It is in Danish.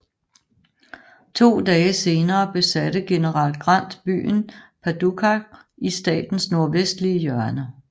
To dage senere besatte general Grant byen Paducah i statens nordvestlige hjørne